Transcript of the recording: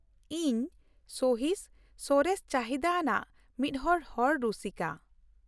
ᱤᱧ ᱥᱚᱦᱤᱥ, ᱥᱚᱨᱮᱥ ᱪᱟᱦᱤᱫᱟ ᱟᱱᱟᱜ ᱢᱤᱫᱦᱚᱲ ᱦᱚᱲ ᱨᱩᱥᱤᱠᱟ ᱾